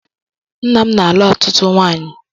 Nna mụ na-alụ ọtụtụ nwanyị